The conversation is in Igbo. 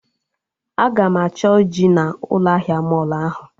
Aga m achọ ji na ụlọ ahịa mọlụ ahụ